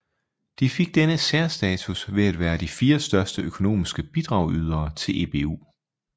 De fik denne særstatus ved at være de fire største økonomiske bidragydere til EBU